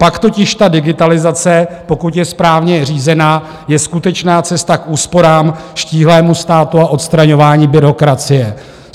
Pak totiž ta digitalizace, pokud je správně řízena, je skutečná cesta k úsporám, štíhlému státu a odstraňování byrokracie.